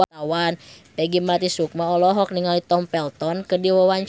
Peggy Melati Sukma olohok ningali Tom Felton keur diwawancara